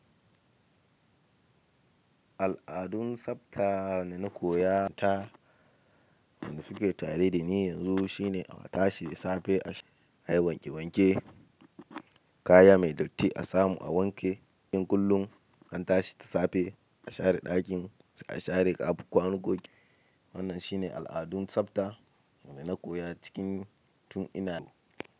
Al'adun tsafta dana koya ta, dana fiyi tare dani yanzu shine a tashi safe, ayi wanke wanke, kaya mai datti asamu a wanke, ɗakin kullum antashi da safe, a share ɗakin, a share kwanon goge. Wannan shine al'adun tsafta dana koya cikin tun ina.